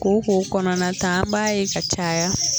Kooko kɔnɔnata an b'a ye ka caya